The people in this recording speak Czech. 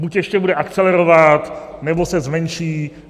Buď ještě bude akcelerovat, nebo se zmenší.